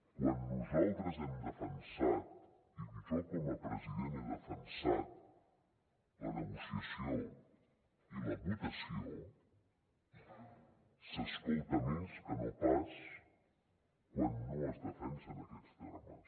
quan nosaltres hem defensat i jo com a president ho he defensat la negociació i la votació s’escolta més que no pas quan no es defensen aquests termes